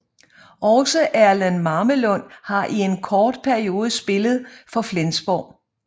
Også Erlend Mamelund har i en kort periode spillet for Flensborg